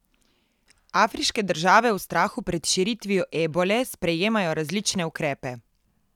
Afriške države v strahu pred širitvijo ebole sprejemajo različne ukrepe.